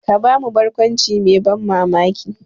Ka ba mu barkwanci mai ban mamaki.